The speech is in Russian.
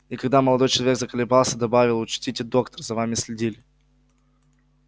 и когда молодой человек заколебался добавил учтите доктор за вами следили